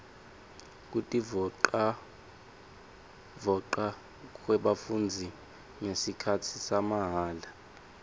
kutivolavoca kwebafundzi ngesikhatsi samahala